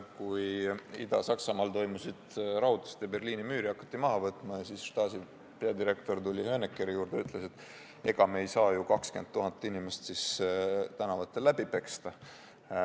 Kui Ida-Saksamaal toimusid rahutused ja Berliini müüri hakati maha võtma, siis Stasi peadirektor tuli Honeckeri juurde ja ütles, et ega me ei saa ju 20 000 inimest tänavatel läbi peksta.